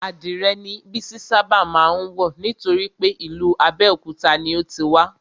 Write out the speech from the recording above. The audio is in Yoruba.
Adìrè ni Bísí ṣábà má ń wọ̀ nítorípé ìlú Abéòkúta ni o ti wá